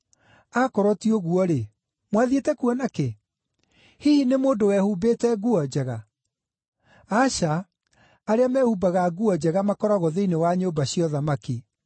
Akorwo ti ũguo-rĩ, mwathiĩte kuona kĩ? Hihi nĩ mũndũ wehumbĩte nguo njega? Aca, arĩa mehumbaga nguo njega makoragwo thĩinĩ wa nyũmba cia ũthamaki.